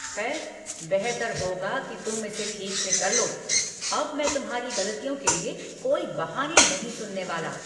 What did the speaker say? खैर, बेहतर होगा कि तुम इसे ठीक से कर लो। अब मैं तुम्हारी गलतियों के लिए कोई बहाने नहीं सुनने वाला।